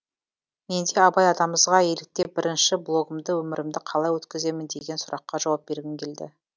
мен де абай атамызға еліктеп бірінші блогымды өмірімді қалай өткіземін деген сұраққа жауап бергім келді